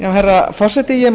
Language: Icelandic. herra forseti ég